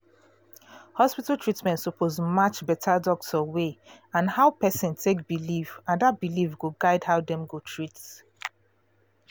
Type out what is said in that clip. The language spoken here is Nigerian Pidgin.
hospital treatment suppose match better doctor way and how person take believe and that belief go guide how dem go treat